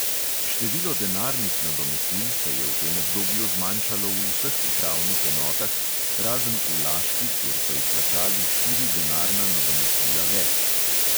Število denarnih nadomestil se je v tem obdobju zmanjšalo v vseh upravnih enotah, razen v laški, kjer so izplačali štiri denarna nadomestila več.